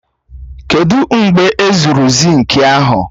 Kedụ u mgbe ezuru zinki ahụ?